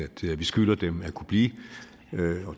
vi skylder dem at kunne blive